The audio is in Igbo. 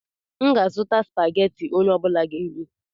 M ga-azụta Spageti onye ọbula ga-eri